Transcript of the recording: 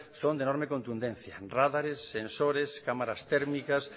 son de enorme contundencia rádares sensores cámaras térmicas